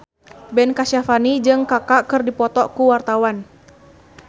Ben Kasyafani jeung Kaka keur dipoto ku wartawan